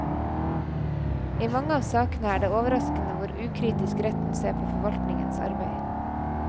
I mange av sakene er det overraskende hvor ukritisk retten ser på forvaltningens arbeid.